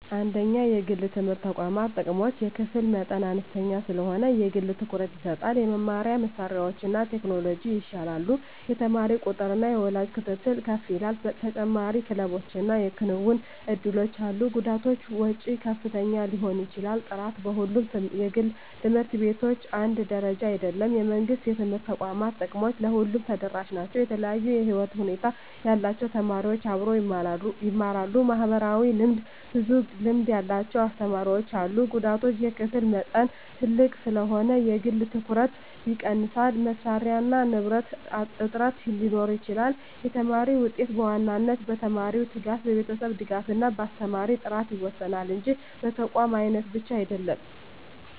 1) የግል የትምህርት ተቋማት ጥቅሞች የክፍል መጠን አነስተኛ ስለሆነ የግል ትኩረት ይሰጣል የመማሪያ መሳሪያዎችና ቴክኖሎጂ ይሻላሉ የተማሪ ቁጥጥርና የወላጅ ክትትል ከፍ ይላል ተጨማሪ ክለቦችና የክንውን እድሎች አሉ ጉዳቶች ወጪ ከፍተኛ ሊሆን ይችላል ጥራት በሁሉም ግል ት/ቤቶች አንድ ደረጃ አይደለም የመንግሥት የትምህርት ተቋማት ጥቅሞች ለሁሉም ተደራሽ ናቸው የተለያዩ የህይወት ሁኔታ ያላቸው ተማሪዎች አብረው ይማራሉ (ማህበራዊ ልምድ) ብዙ ልምድ ያላቸው አስተማሪዎች አሉ ጉዳቶች የክፍል መጠን ትልቅ ስለሆነ የግል ትኩረት ይቀንሳል መሳሪያና ንብረት እጥረት ሊኖር ይችላል የተማሪ ውጤት በዋናነት በተማሪው ትጋት፣ በቤተሰብ ድጋፍ እና በአስተማሪ ጥራት ይወሰናል እንጂ በተቋም አይነት ብቻ አይደለም።